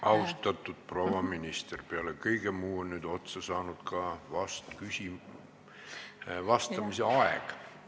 Austatud proua minister, peale kõige muu on nüüd otsa saanud ka vastamise aeg.